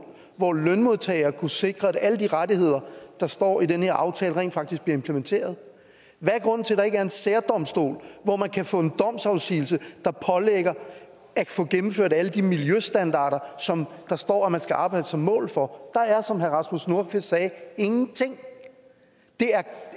hvor lønmodtagere kunne sikre at alle de rettigheder der står i den her aftale rent faktisk bliver implementeret hvad er grunden til at der ikke er en særdomstol hvor man kan få en domsafsigelse der pålægger at få gennemført alle de miljøstandarder der står at man skal arbejde som mål for der er som herre rasmus nordqvist sagde ingenting det er